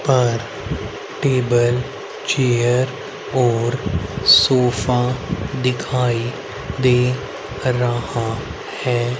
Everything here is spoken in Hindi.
पर टेबल चेयर और सोफा दिखाई दे रहा है।